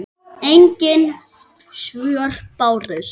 Engin svör bárust.